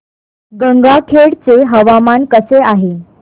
गंगाखेड चे हवामान कसे आहे